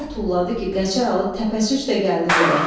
Elə tulladı ki, Qəçər Alı təpəsi üstə gəldi yerə.